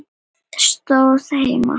Það stóð heima.